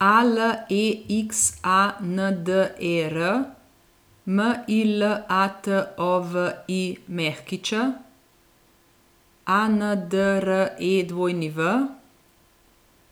A L E X A N D E R, M I L A T O V I Ć; A N D R E W,